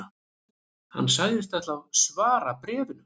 Hann sagðist ætla að svara bréfinu